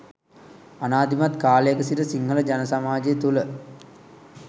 අනාදිමත් කාලයක සිට සිංහල ජන සමාජය තුළ